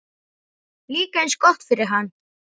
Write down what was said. Líka eins gott fyrir hann.